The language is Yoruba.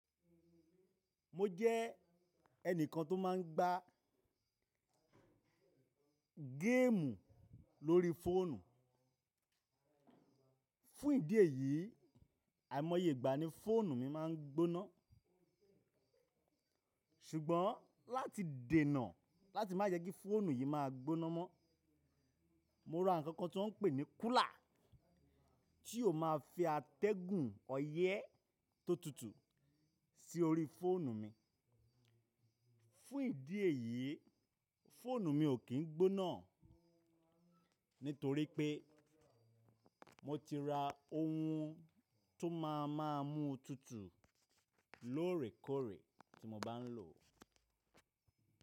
Mo jẹ́ ẹnìkan tó máa ń gbá géèmù lórí fóònù. Fún ìdí èyí, àìmọyégbà ní fóònù mi máa ń gbóná. Ṣugbọn láti dènà láti má jẹ kí fóònù yìí máa gbóná mọ́, mo ra nǹkan kan tó ń pè ní kúlà tí ó máa fi atẹ́gùn ọyẹ́ tó tutù sí orí fóònù mi. Fún ìdí èyí, fóònù mi ò kín gbónà nítorí pé mo ti ra ohun tó máa ń máa mú tutù lóòrèkóòrè tí mo bá ń lò ó.